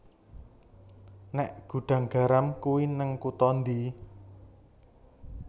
Nek Gudang Garam kui ning kuto ndi